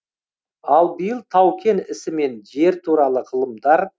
ал биыл тау кен ісі мен жер туралы ғылымдар